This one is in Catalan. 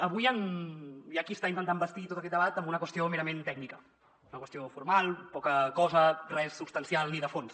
avui hi ha qui està intentant bastir tot aquest debat amb una qüestió merament tècnica una qüestió formal poca cosa res substancial ni de fons